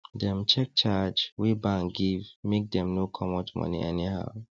dem check charge wey bank give make dem no comot money anyhow